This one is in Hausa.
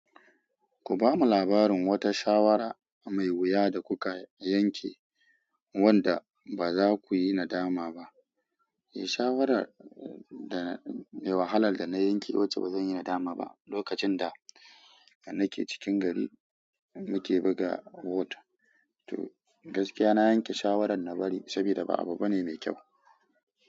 Ku ba mu labarin wata shawara mai wuya da kuka yanke wanda ba za ku yi nadama ba. E, shawara da mai wahalar da na yanke wacce ba zan yi nadama ba, lokacin da nake cikin gari muke buga whot. To gaskiya na yanke shawarar na bari saboda ba abu bane mai kyau.